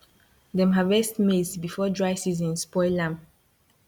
dem harvest maize before dry season spoil am